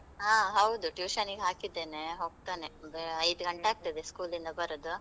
ಹಾ, ಹೌದು tuition ನಿಗ್ ಹಾಕಿದ್ದೆನೆ, ಹೋಗ್ತನೆ, ಬೇ~ ಐದ್ ಗಂಟೆ ಆಗ್ತದೆ school ಲಿಂದ ಬರುದು.